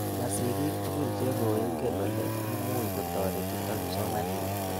Ma sigik tukul che koingen ole imuch kotoretito kipsomaninik.